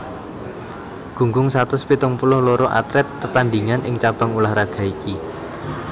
Gunggung satus pitung puluh loro atlet tetandhingan ing cabang ulah raga iki